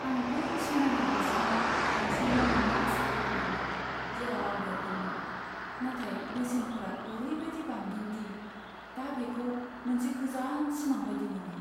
आं बै समायना नसुङाव गंसे न' मोन्नो आसा खालामदोंमोन, जेराव आं देरदोंमोन, नाथाय बेसेनफोरा ओरैबायदि बांदों दि दा बेखौ मोनसे गोजान सिमां बायदि मोनो।